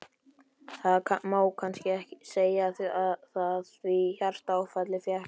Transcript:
Það má kannski segja það, því hjartaáfallið fékk hann.